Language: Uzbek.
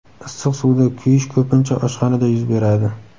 Issiq suvda kuyish ko‘pincha oshxonada yuz beradi.